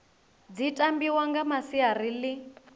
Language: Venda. dzi tambiwa nga masiari ḽi